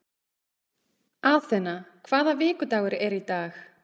Athena, hvaða vikudagur er í dag?